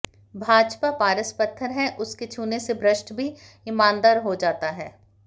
भाजपा पारस पत्थर है उसके छूने से भ्रष्ट भी ईमानदार हो जाता है